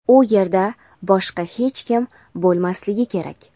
u yerda boshqa hech kim bo‘lmasligi kerak.